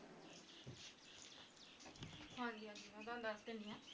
ਹਾਂ ਜੀ ਹਾਂ ਜੀ ਮੈਂ ਤੁਹਾਨੂੰ ਦੱਸ ਦਿੰਨੀ ਹਾਂ